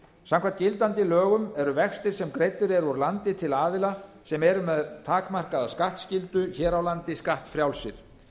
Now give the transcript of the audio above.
samkvæmt gildandi lögum eru vextir sem greiddir eru úr landi til aðila sem eru með takmarkaða skattskyldu hér á landi skattfrjálsir